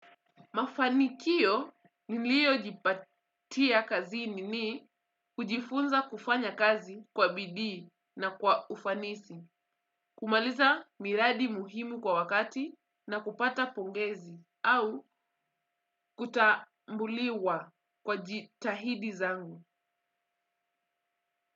Mafanikio niliojipatia kazini ni kujifunza kufanya kazi kwa bidii na kwa ufanisi, kumaliza miradi muhimu kwa wakati na kupata pongezi au kutambuliwa kwa jitahidi zangu.